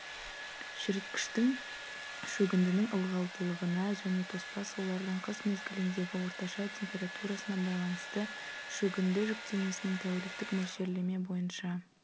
шіріткіштің шөгіндінің ылғалдылығына және тоспа сулардың қыс мезгіліндегі орташа температурасына байланысты шөгінді жүктемесінің тәуліктік мөлшерлеме бойынша